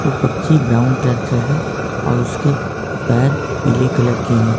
पक्षी brown colour का है और उसके पैर पीले कलर के हैं।